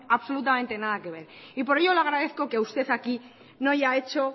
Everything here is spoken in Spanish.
absolutamente nada que ver y por ello le agradezco que usted aquí no haya hecho